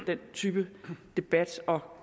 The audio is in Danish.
den type debat og